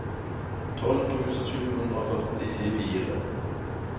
tolv tusen sju hundre og førtifire